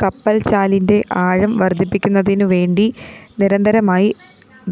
കപ്പല്‍ചാലിന്റെ ആഴം വര്‍ധിപ്പിക്കുന്നതിനുവേണ്ടി നിരന്തരമായി